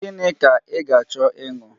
Gịnị ka ị ga-achọ ịṅụ?